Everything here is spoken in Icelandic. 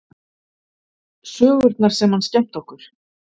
Sögurnar sem hann skemmti okkur